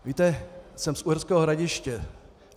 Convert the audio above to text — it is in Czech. Víte, jsem z Uherského Hradiště.